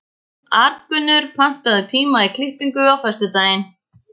Arngunnur, pantaðu tíma í klippingu á föstudaginn.